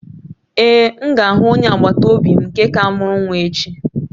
Ee, m ga-ahụ onye agbata obi m nke ka mụrụ nwa echi